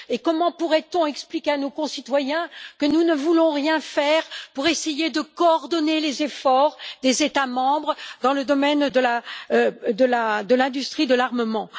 Comment pourrait on expliquer à nos concitoyens que nous ne voulons rien faire pour essayer de coordonner les efforts des États membres dans le domaine de l'industrie de l'armement?